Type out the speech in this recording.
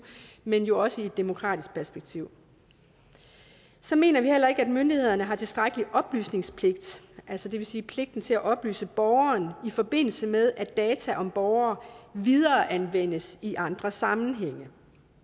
men jo også i et demokratisk perspektiv så mener vi heller ikke at myndighederne har tilstrækkelig oplysningspligt det vil sige pligten til at oplyse borgeren i forbindelse med at data om borgeren videreanvendes i andre sammenhænge